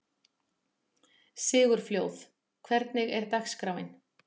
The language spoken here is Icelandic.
Sigurfljóð, hvernig er dagskráin?